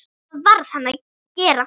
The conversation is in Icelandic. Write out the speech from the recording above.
Það varð hann að gera.